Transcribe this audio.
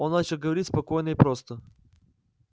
он начал говорить спокойно и просто